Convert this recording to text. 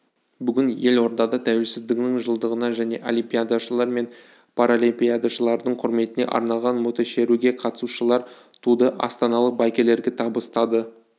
бүгін елордада тәуелсіздігінің жылдығына және олимпиадашылар мен паралимпиадашылардың құрметіне арналған мотошеруге қатысушылар туды астаналық байкерлерге табыстады